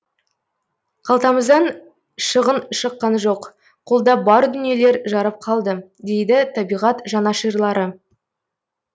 қалтамыздан шығын шыққан жоқ қолда бар дүниелер жарап қалды дейді табиғат жанашырлары